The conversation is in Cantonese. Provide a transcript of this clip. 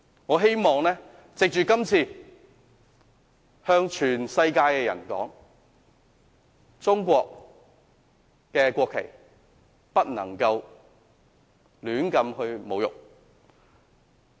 我希望藉着今次向全世界的人說，中國國旗不能胡亂侮辱。